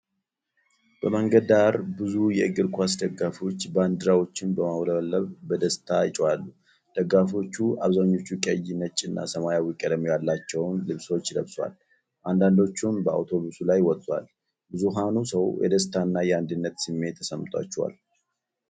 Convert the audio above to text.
በመንገድ ዳር ብዙ የእግር ኳስ ደጋፊዎች ባንዲራዎችን በማውለብለብ በደስታ ይጮሃሉ። ደጋፊዎቹ አብዛኞቹ ቀይ፣ ነጭና ሰማያዊ ቀለም ያላቸውን ልብሶች ለብሰዋል፤ አንዳንዶቹም በአውቶቡስ ላይ ወጥተዋል። ብዙኃኑ ሰው የደስታና የአንድነት ስሜት ተሰምቷቸዋል።